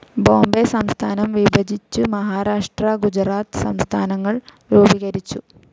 ബോംബൈ സംസ്ഥാനം വിഭജിച്ചു മഹാരാഷ്ട്ര ഗുജറാത്ത് സംസ്ഥാനങ്ങൾ രൂപീകരിച്ചു.